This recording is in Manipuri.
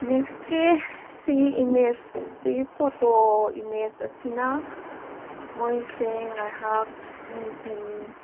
ꯅꯦꯛꯁ ꯀꯤ ꯁꯤꯒꯤ ꯏꯃꯦꯖ ꯁꯤꯒꯤ ꯐꯣꯇꯣ ꯢꯃꯦꯖ ꯑꯁꯤꯅ ꯃꯣꯏꯁꯦ ꯉꯩꯍꯛ ꯅꯨꯡꯗꯤꯟ꯫